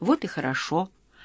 вот и хорошо